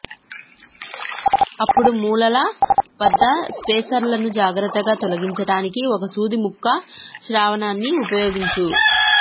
అప్పుడు మూలల వద్ద స్పేసర్లను జాగ్రత్తగా తొలగించడానికి ఒక సూది ముక్కు శ్రావణాన్ని ఉపయోగించు